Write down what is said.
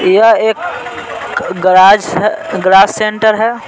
यह एक गराज शअगराज सेंटर है।